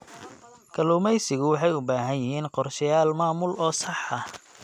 Kalluumaysigu waxay u baahan yihiin qorshayaal maamul oo sax ah.